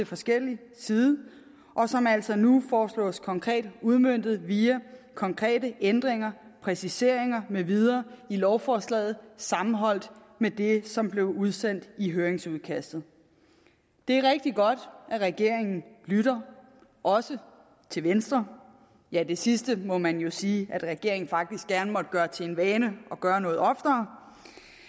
forskellig side og som altså nu foreslås konkret udmøntet via konkrete ændringer præciseringer med videre i lovforslaget sammenholdt med det som blev udsendt i høringsudkastet det er rigtig godt at regeringen lytter også til venstre ja det sidste må man jo sige at regeringen faktisk gerne måtte gøre til en vane og gøre noget oftere